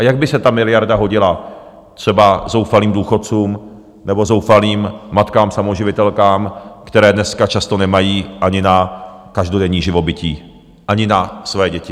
A jak by se ta miliarda hodila třeba zoufalým důchodcům nebo zoufalým matkám samoživitelkám, které dneska často nemají ani na každodenní živobytí, ani na své děti.